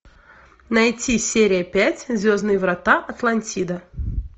найти серия пять звездные врата атлантида